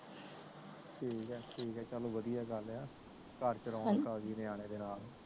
ਠੀਕ ਏ ਠੀਕ ਏ ਚਲ ਵਧਿਆ ਗੱਲ ਆ ਘਰ ਚ ਰੌਣਕ ਅਗਿ ਨਿਆਣੇ ਨਾਲ